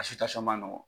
ma nɔgɔ